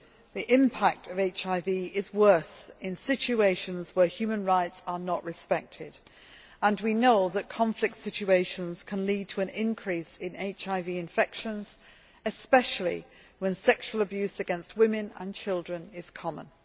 The impact of HIV is worse in situations where human rights are not respected, and we know that conflict situations can lead to an increase in HIV infections, especially when sexual abuse against women and children is common.